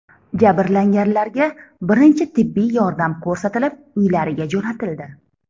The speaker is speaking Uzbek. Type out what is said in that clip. Jabrlanganlarga birinchi tibbiy yordam ko‘rsatilib, uylariga jo‘natildi.